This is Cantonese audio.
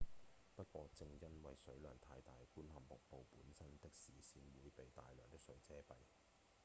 不過正因為水量太大觀看瀑布本身的視線會被大量的水遮蔽！